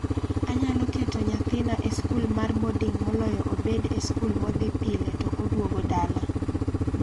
Anyalo keto nyathina e skul mar boding' moloyo obed e skul modhi pile to oduogo dala.